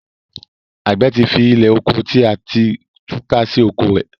agbe tí fí Ilẹ́oko tí a ti túká sì oko rẹ.